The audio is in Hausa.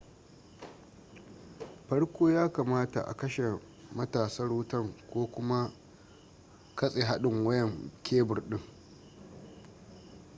farko ya kamata a kashe matatsar wutan ko kuma katse hadin wayan kebur din